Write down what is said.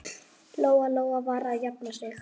Lóa-Lóa var að jafna sig.